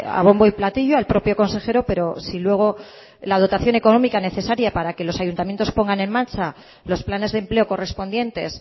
a bombo y platillo al propio consejero pero luego si la dotación económica necesaria para que los ayuntamientos pongan en marcha los planes de empleo correspondientes